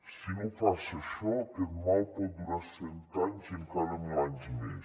si no passa això aquest mal pot durar cent anys i encara mil anys més